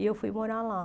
E eu fui morar lá.